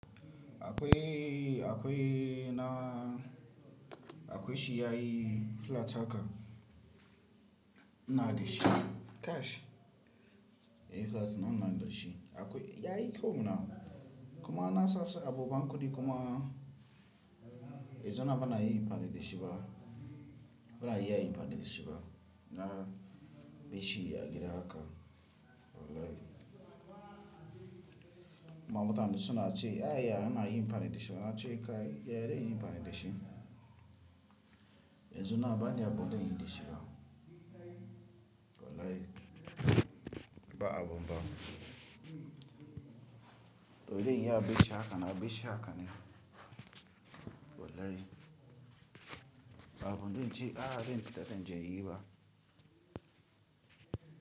Akwai, akwai na akwai shi yayi flat haka. Inada shi cash. Eh flat nan na gishin akwai yayi kyau nawa. Kuma na sasu abu bankudi kuma. E zana bana yin anfani dishiba. Bana iya yin anfani dishiba. Na bishi ya gira haka. Bolai. Mamota suna ce a ya na yi farin dishiba na ce kai ya dace yin farin dishin. E zana bani abunda yin dishiba. Walai ba abu ba. To idan ya bi shi haka na bi shi haka ne. Walai ba abunda in ce a ba in fita dan jayi ba.